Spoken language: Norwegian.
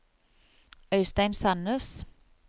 Øistein Sannes